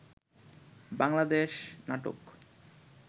Bangladesh নাটোক